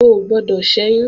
O ò gbọdọ̀ ṣẹ́yún!